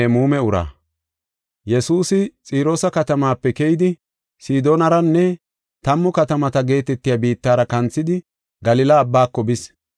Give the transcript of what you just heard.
Yesuusi Xiroosa katamaape keyidi, Sidoonaranne Tammu Katamata geetetiya biittara kanthidi Galila Abbaako bis.